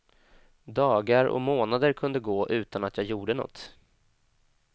Dagar och månader kunde gå utan att jag gjorde något.